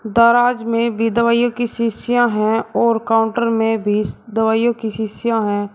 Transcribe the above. दराज में भी दवाइयों की शीशियां हैं और काउंटर में भी दवाइयों की शीशियां हैं।